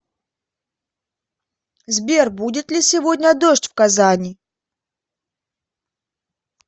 сбер будет ли сегодня дождь в казани